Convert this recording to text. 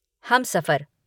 Humsafar